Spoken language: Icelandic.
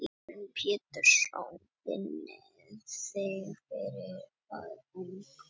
Heimir Már Pétursson: Finnið þið fyrir að ungt fólk sýnir þessu verkefni áhuga?